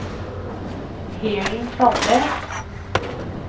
Helen Sandnes